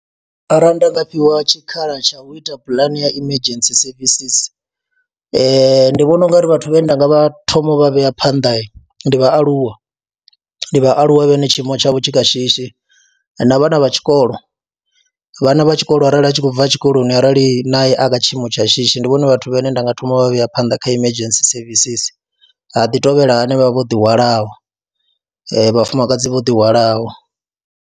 Arali nda nga fhiwa tshikhala tsha u ita pulane ya emergency services ndi vhona u nga ri vhathu vhane nda nga vha thoma vha vhea phanḓa ndi vhaaluwa, ndi vhaaluwa vhane tshiimo tshavho tshi kha shishi na vhana vha tshikolo, vhana vha tshikolo arali a tshi khou bva tshikoloni arali naye a kha tshiimo tsha shishi ndi vhone vhathu vhane nda nga thoma vha vhea phanḓa kha emergency services, ha ḓi tovhela hanevha vho ḓihwalaho, vhafumakadzi vho ḓihwalaho.